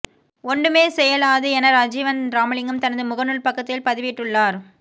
ஒண்டுமே செய்யேலாது என ரஜீவன் ராமலிங்கம் தனது முகநுால் பக்கத்தில் பதிவிட்டுள்ளார்